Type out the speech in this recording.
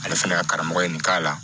Ale fana ka karamɔgɔ ye nin k'a la